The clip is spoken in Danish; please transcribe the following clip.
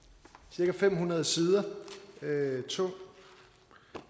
cirka fem hundrede sider tung